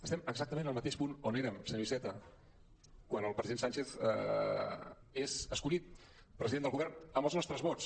estem exactament en el mateix punt on érem senyor iceta quan el president sánchez és escollit president del govern amb els nostres vots